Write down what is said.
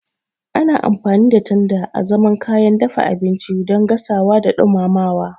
Ana amfani da tanda azaman kayan dafa abinci don gasawa da dumama.